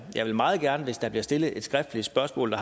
jeg vil meget gerne hvis der bliver stillet et skriftligt spørgsmål